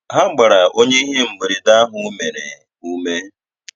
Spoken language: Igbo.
Ha gbara onye ihe mberede ahụ mere, ume.